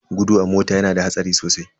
Gudu a mota yana da hatsari sosai.